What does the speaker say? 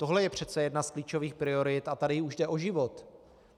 Tohle je přece jedna z klíčových priorit a tady už jde o život.